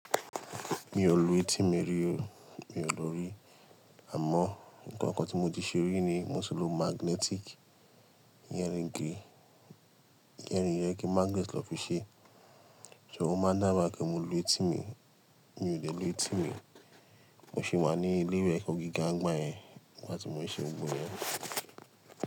Mi ò lù etí mi rí o. Mi ò lù ú rí. Àmọ́ nǹkan kan tí mo ti ṣe rí ni moti ko magnetic, ear ring yẹn magnet ni won fi ṣe. Ṣé ó máa ń dábi igba pe mo lu etí mi? Mi dẹ lù etí mi. Mo ṣi wà ní ilé ìwé ẹ̀kọ́ gíga ń gbá yẹn nígbà tí mo ṣe gbogbo iyẹn.